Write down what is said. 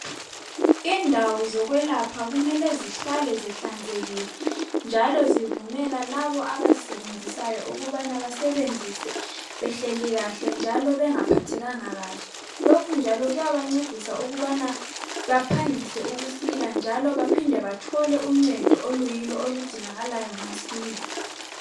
Indawo zokwelapha kumele zihlale zihlanzekile. Njalo zivumela labo abazisebenzisayo ukubana basebenzise behleli kahle njalo bengaphathekanga kahle .Lokhu njalo kuyabancedisa ukubana baphangise ukusile njalo baphinde bathole uncedo okuyilo oludingakalayo masinya.